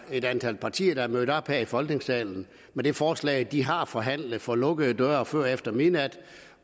er et antal partier der er mødt op her i folketingssalen med det forslag de har forhandlet for lukkede døre før og efter midnat